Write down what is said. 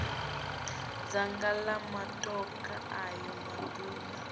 dzanga la matokha ayo maduna